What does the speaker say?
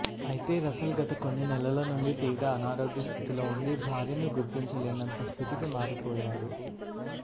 అయితే రసెల్ గత కొన్ని నెలల నుండి తీవ్ర అనారోగ్య స్థితిలో ఉండి భార్యను గుర్తించలేనంత స్థితికి మారి పోయాడు